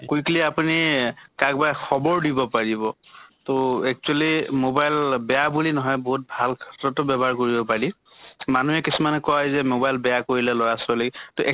quickly আপুনি কাক বা খবৰ দিব পাৰিব। তʼ actually mobile বেয়া বুলি নহয় বহুত ভাল ক্ষেত্ৰটো ব্য়ৱহাৰ কৰিব পাৰি। মানুহে কিছুমানে হয় যে mobile বেয়া কৰিলে লʼৰা ছোৱালীক।